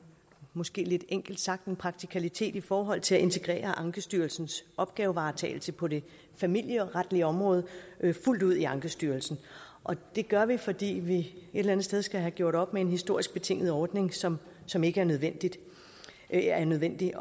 måske lidt enkelt sagt en praktikalitet i forhold til at integrere ankestyrelsens opgavevaretagelse på det familieretlige område fuldt ud i ankestyrelsen det gør vi fordi vi eller andet sted skal have gjort op med en historisk betinget ordning som som ikke er nødvendig er nødvendig